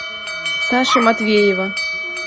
саши матвеева